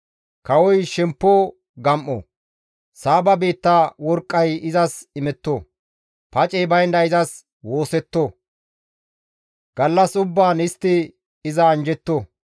Kawoy shemppo gam7o; Saaba biitta worqqay izas imetto. Pacey baynda izas woossetto; gallas ubbaan istti iza anjjetto.